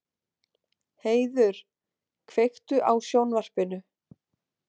Heiður, kveiktu á sjónvarpinu.